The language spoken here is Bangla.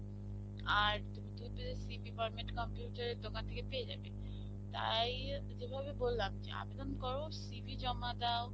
আর তুমিতো CV format computer এর দোকান থেকে পেয়ে যাবে. তাই যেভাবে বল্লাম যে আবেদন করো CV জমা দাও